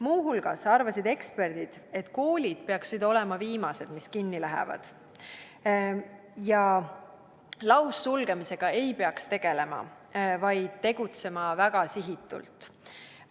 Muu hulgas arvasid eksperdid, et koolid peaksid olema viimased, mis kinni lähevad, ja laussulgemisega ei peaks tegelema, vaid tegutsema väga eesmärgipäraselt.